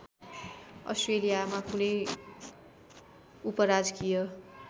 अस्ट्रेलियामा कुनै उपराजकीय